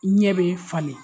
Ɲɛ bɛ falen